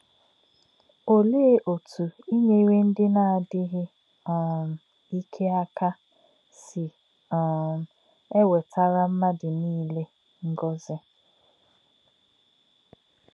Ọ̀lē̄ ọ̀tú̄ ínyèrè̄ ndí̄ nā̄-ádí̄ghí̄ um íkè̄ ákà̄ sī̄ um èwètà̄rá̄ mmádụ̄ nílé̄ ngọ̀zí̄?